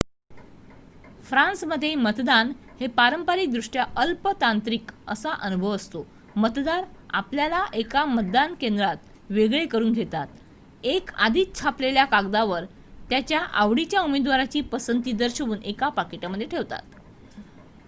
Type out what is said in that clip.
फ्रान्समध्ये मतदान हे पारंपरिक दृष्ट्या अल्प तांत्रिक असा अनुभव असतो मतदार आपल्याला एका मतदान केंद्रात वेगळे करून घेतात एक आधीच छापलेल्या कागदावर त्यांच्या आवडीच्या उमेदवाराची पसंती दर्शवून एका पाकिटामध्ये ठेवतात